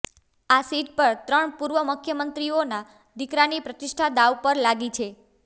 આ સીટ પર ત્રણ પૂર્વ મુખ્યમંત્રીઓના દીકરાની પ્રતિષ્ઠા દાવ પર લાગી છે